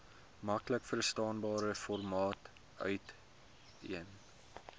maklikverstaanbare formaat uiteen